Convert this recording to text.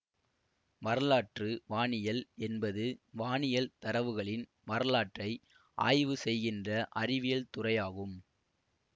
வரலாற்று வானியல் என்பது வானியல் தரவுகளின் வரலாற்றை ஆய்வு செய்கின்ற அறிவியல் துறையாகும்